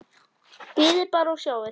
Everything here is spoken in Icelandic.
Bíðið bara og sjáið!